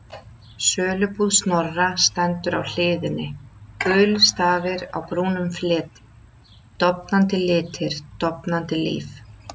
Sölubúð Snorra, stendur á hliðinni, gulir stafir á brúnum fleti, dofnandi litir, dofnandi líf.